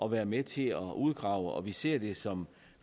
at være med til at uddrage og vi ser det som